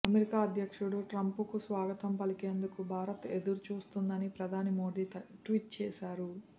America అధ్యక్షుడు ట్రంప్నకు స్వాగతం పలికేందుకు భారత్ ఎదురుచూస్తోందని ప్రధాని మోదీ ట్వీట్ చేశారు